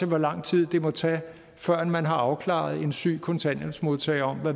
hvor lang tid det må tage førend man har afklaret en syg kontanthjælpsmodtager